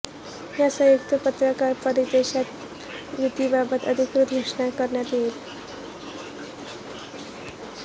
या संयुक्त पत्रकार परिषदेत युतीबाबतची अधिकृत घोषणा करण्यात येईल